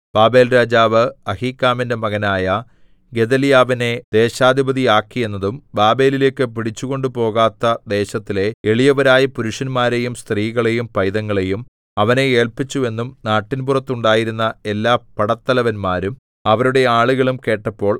ബാബേൽരാജാവ് അഹീക്കാമിന്റെ മകനായ ഗെദല്യാവിനെ ദേശാധിപതിയാക്കിയെന്നും ബാബേലിലേക്കു പിടിച്ചു കൊണ്ടുപോകാത്ത ദേശത്തിലെ എളിയവരായ പുരുഷന്മാരെയും സ്ത്രീകളെയും പൈതങ്ങളെയും അവനെ ഏല്പിച്ചു എന്നും നാട്ടിൻപുറത്തുണ്ടായിരുന്ന എല്ലാ പടത്തലവന്മാരും അവരുടെ ആളുകളും കേട്ടപ്പോൾ